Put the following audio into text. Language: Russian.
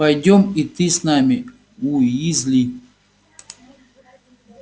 пойдём и ты с нами уизли